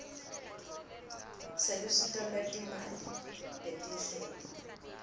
selusito lwetimali tetinhlelo